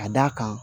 Ka d'a kan